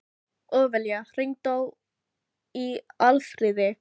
Ófelía, hringdu í Alfríði.